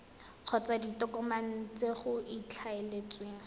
kgotsa ditokomane tse go ikaeletsweng